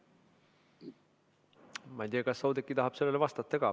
Ma ei tea, kas Oudekki tahab sellele vastata ka.